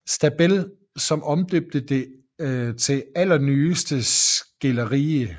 Stabell som omdøbte det til Allernyeste Skilderie